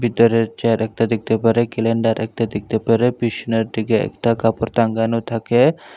ভেতরের চেয়ার একটা দেখতে পারে কেলেন্ডার একটা দেখতে পারে পিসনের দিকে একটা কাপড় টাঙ্গানো থাকে।